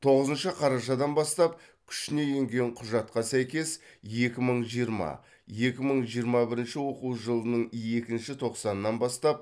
тоғызыншы қарашадан бастап күшіне енген құжатқа сәйкес екі мың жиырма екі мың жиырма бірінші оқу жылының екінші тоқсанынан бастап